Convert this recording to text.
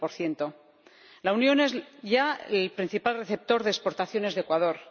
21 La Unión es ya el principal receptor de exportaciones de Ecuador.